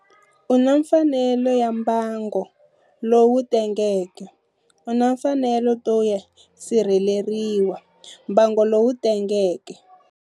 U na mfanelo ya mbango lowu tengeke U na mfanelo to yo sirheleriwa, mbango lowu tengeke.